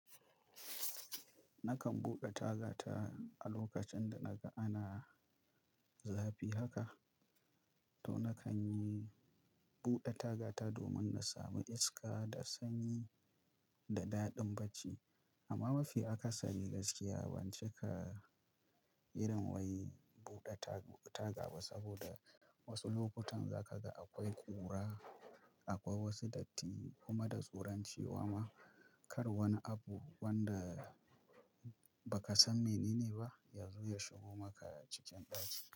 Nakan buɗe tagata a lokacin da naga ana zafi haka to nakan yi buɗe tagata domin na sami iska da sanyi da daɗin bacci. Amma mafi akasari gaskiya ban cika irin wai buɗe tag- taga ba saboda wasu lokutan za ka ga akwai ƙura, akwai wasu datti kuma da tsoron cewa ma kar wani abu wanda ba ka san menene ba ya zo ya shigo maka cikin ɗaki.